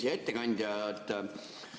Hea ettekandja!